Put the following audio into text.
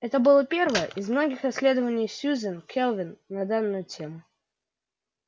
это было первое из многих исследований сюзен кэлвин на данную тему